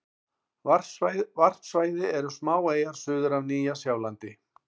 Varpsvæði eru smáeyjar suður af Nýja-Sjálandi.